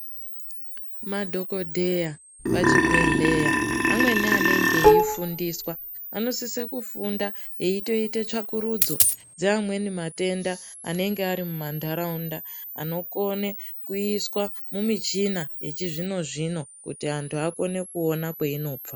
Madhogodheya pachibhedhleya amweni anenge eifundiswa anosise kufunda eitoite tsvakurudzo dzeamweni matenda anenge ari mumantaraunda. Anokone kuiswa mumichina yechizvino-zvino kuti antu akone kuona kweinobva.